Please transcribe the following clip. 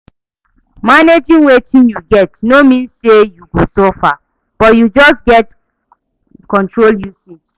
Managing wetin yu get no mean say yu go suffer, but yu just gats control usage